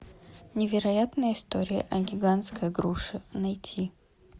невероятная история о гигантской груше найти